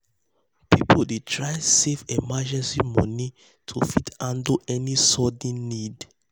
people dey try save emergency money to fit handle any sudden need.